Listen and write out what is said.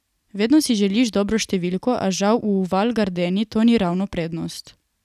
Vedno si želiš dobro številko, a žal v Val Gardeni to ni ravno prednost.